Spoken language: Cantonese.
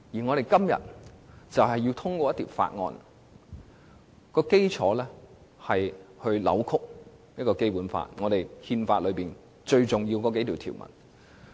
我們今天要通過的《條例草案》，根本扭曲了《基本法》亦即是憲法最重要的數項條文。